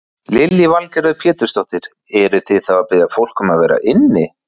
Lillý Valgerður Pétursdóttir: Eruð þið að biðja fólk þá að vera inni?